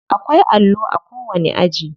Akwai allo a kowani aji.